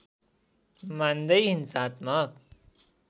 मान्दै हिंसात्मक